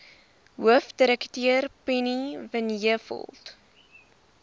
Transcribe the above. hoofdirekteur penny vinjevold